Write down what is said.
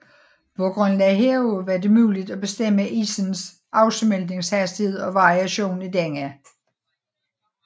På grundlag heraf var det muligt at bestemme isens afsmeltningshastighed og variation i denne